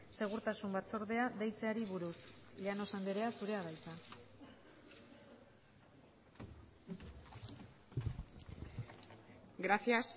segurtasun batzordea deitzeari buruz llanos andrea zurea da hitza gracias